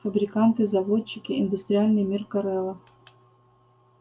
фабриканты заводчики индустриальный мир корела